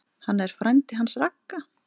Hann er frændi hans Ragga.